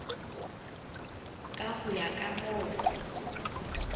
ka ho ya ka moo